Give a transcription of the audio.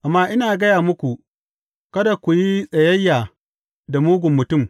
Amma ina gaya muku, Kada ku yi tsayayya da mugun mutum.